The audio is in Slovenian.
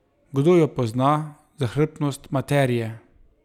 Kdo jo pozna, zahrbtnost materije?